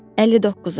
59-a.